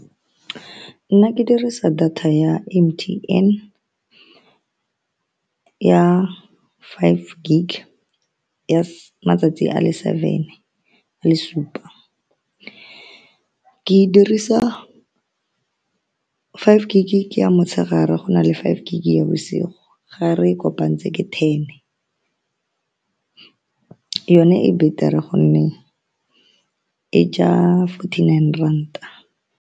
Nna ke dirisa data ya M_T_N ya five gig ya , matsatsi a le seven a le supa. Ke e dirisa five gig ke ya motshegare, go na le five gig ya bosigo gare e kopanetse ke ten. Yone e betere ka gonne e ja forty-nine ranta.